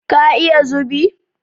Ka iya zubi?